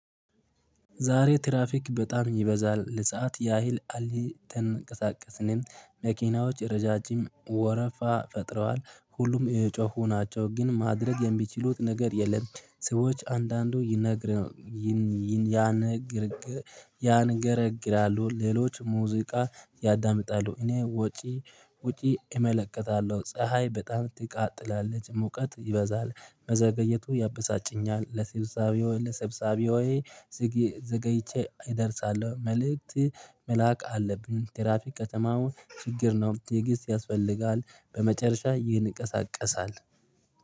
ዛሬ ትራፊክ በጣም ይበዛል። ለሰአት ያህል አልተንቀሳቀስንም። መኪናዎች ረዣዥም ወረፋ ፈጥረዋል። ሁሉም እየጮሁ ናቸው። ግን ማድረግ የሚችሉት ነገር የለም። ሰዎች አንዳንዱ ይነግር ያንጎራጉራሉ። ሌሎች ሙዚቃ ያዳምጣሉ። እኔ ውጪ ውጪ እመለከታለሁ። ፀሀይ በጣም ትቃጥላለች። ሙቀት ይበዛል። መዘገየቱ ያበሳጨኛል። ለስብሳቤ ሆይ ለስብሳቤ ሆይ ዘገይቼ እደርሳለሁ መልእክት መላክ አለብኝ። ትራፊክ ከተማው ችግር ነው። ትዕግስት ያስፈልጋል። በመጨረሻ ይንቀሳቀሳል